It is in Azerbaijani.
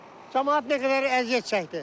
Camaat nə qədər əziyyət çəkdi.